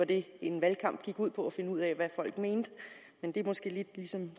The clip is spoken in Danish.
det en valgkamp gik ud på var at finde ud af hvad folk mente men det er måske lidt ligesom